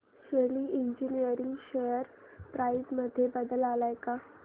शेली engineering share price मध्ये बदल आलाय का